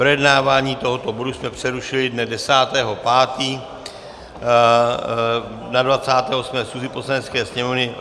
Projednávání tohoto bodu jsme přerušili dne 10. 5. na 28. schůzi Poslanecké sněmovny.